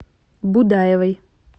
будаевой